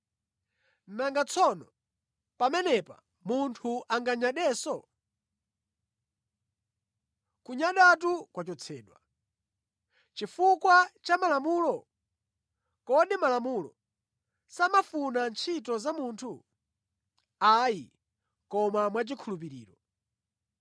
Nanga tsono pamenepa munthu anganyadenso? Kunyadatu kwachotsedwa. Chifukwa cha Malamulo? Kodi Malamulo samafuna ntchito za munthu? Ayi, koma mwachikhulupiriro.